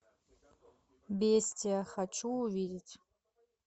бестия хочу увидеть